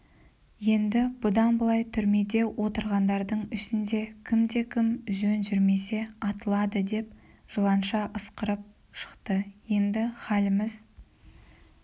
енді бұдан былай түрмеде отырғандардың ішінде кімде-кім жөн жүрмесе атылады деп жыланша ысқырып шықты енді халіміз